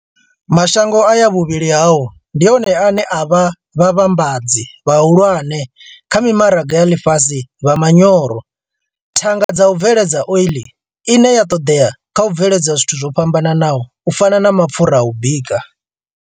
Mashango aya vhuvhili hao ndi one ane a vha vhavhambadzi vhahulwane kha mimaraga ya ḽifhasi vha manyoro, thanga dza u bveledza ole ine ya ṱoḓea kha u bveledza zwithu zwo fhambanaho u fana na mapfura a u bika.